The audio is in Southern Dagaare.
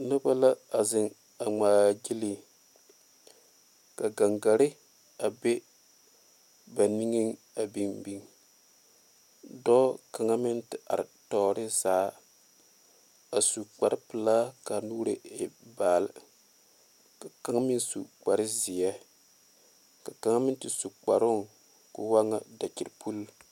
Noba la a zeŋ a ŋmaa gyile ka gangaare a be ba niŋe a biŋ biŋ dɔɔ kaŋa meŋ te are tɔɔre zaa a su kpare pelaa kaa nuure e baale ka kaŋa meŋ su kpare ziɛ ka kaŋa meŋ te su kparo ko'o waa ŋa dakyipule.